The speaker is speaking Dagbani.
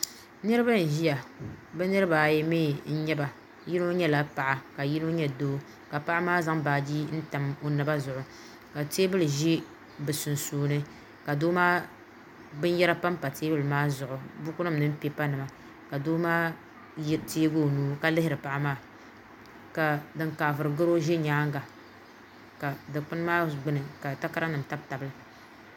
Niriba n ʒia bɛ niriba ayi mee n nyɛ ba yino nyɛla paɣa ka yino nyɛ doo ka paɣa maa zaŋ baaji n tam o naba zuɣu ka teebuli ʒi bɛ sunsuuni ka binyera panpa teebuli maa zuɣu buku nima mini pipa nima ka doo maa teegi o nuu ka lihiri paɣa maa ka din kaaviri goro ʒi nyaanga ka dikpini maa gbini takara nima n tabi tab tabi li .